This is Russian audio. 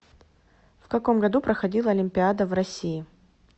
в каком году проходила олимпиада в россии